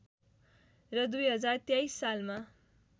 र २०२३ सालमा